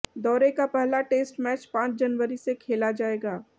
दौरे का पहला टेस्ट मैच पांच जनवरी से खेला जाएगा